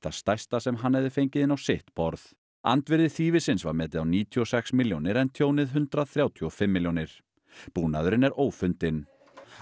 það stærsta sem hann hefði fengið inn á sitt borð andvirði þýfisins var metið níutíu og sex milljónir en tjónið hundrað þrjátíu og fimm milljónir búnaðurinn er ófundinn